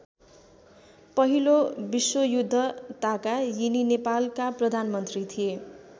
पहिलो विश्वयुद्ध ताका यिनी नेपालका प्रधानमन्त्री थिए।